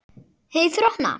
Hey þrotna.